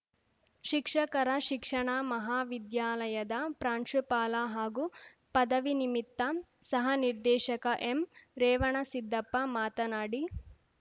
ಶಿಕ್ಷಕರ ಶಿಕ್ಷಣಾ ಮಹಾವಿದ್ಯಾಲಯದ ಪ್ರಾಂಶುಪಾಲ ಹಾಗು ಪದವಿನಿಮಿತ್ತ ಸಹನಿರ್ದೇಶಕ ಎಂರೇವಣಸಿದ್ದಪ್ಪ ಮಾತನಾಡಿ